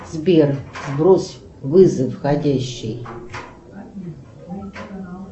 сбер сброс вызов входящий